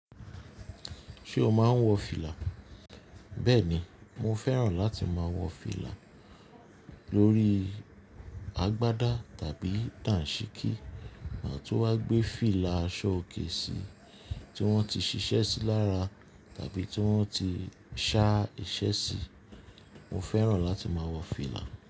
Ṣé o máa ń wọ fìlà? Bẹ́ẹ̀ni, mo fẹ́ràn láti máa wọ fìlà lórí agbádá tàbí dàǹṣíkí ma tun wa gbé fìlà aṣọ òkè sí tí wọ́n ti ṣiṣẹ́ sí lára tàbí tí wọ́n ti ṣá iṣẹ́ sí. Mo fẹ́ràn láti máa wọ fìlà.